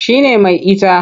Shi ne mai ita.